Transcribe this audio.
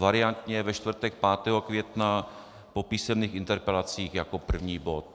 Variantně ve čtvrtek 5. května po písemných interpelacích jako první bod.